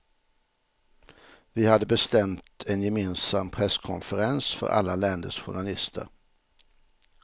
Vi hade bestämt en gemensam presskonferens för alla länders journalister.